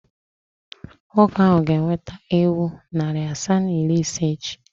Nwoke ahụ ga-eweta ewu narị asaa na iri ise echi.